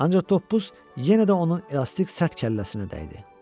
Ancaq toppuz yenə də onun elastik sərt kəlləsinə dəydi.